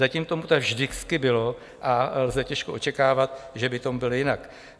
Zatím tomu tak vždycky bylo a lze těžko očekávat, že by tomu bylo jinak.